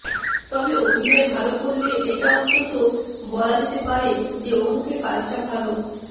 তবে অভিনয় ভাল করলে এটা অন্তত বলা যেতে পারে যে অমুকে কাজটা ভাল